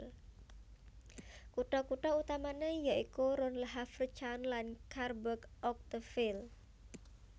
Kutha kutha utamané ya iku Rouen Le Havre Caen lan Cherbourg Octeville